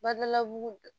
Badalabugu